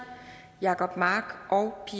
jacob mark og